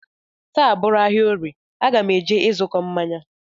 Taa bụrụ ahịa orie, aga m eje ịzụkọ mmanya